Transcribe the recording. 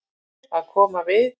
Að koma við